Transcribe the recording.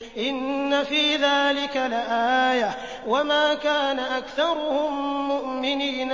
إِنَّ فِي ذَٰلِكَ لَآيَةً ۖ وَمَا كَانَ أَكْثَرُهُم مُّؤْمِنِينَ